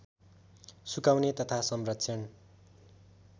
सुकाउने तथा संरक्षण